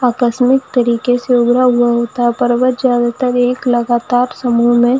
आकस्मिक तरीके से उड़ा हुआ होता पर वह लगातार समूह में--